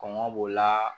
Kɔngɔ b'o la